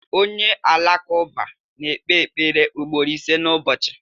Onye Alakụba na-ekpe ekpere ugboro ise n’ụbọchị.